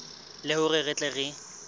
le hore re tle re